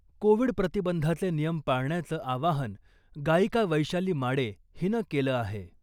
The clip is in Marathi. कोविड प्रतिबंधाचे नियम पाळण्याचं आवाहन गायिका वैशाली माडे हिनं केलं आहे .